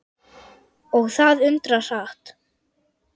Og það undra hratt.